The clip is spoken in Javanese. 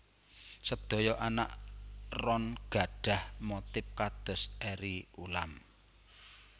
Sedaya anak ron gadhah motif kados eri ulam